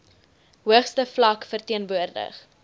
hoogste vlak verteenwoordig